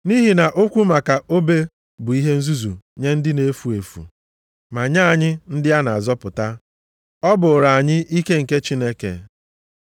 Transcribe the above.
Nʼihi na okwu maka obe bụ ihe nzuzu nye ndị na-efu efu, ma nye anyị ndị a na-azọpụta, ọ bụrụ anyị ike nke Chineke.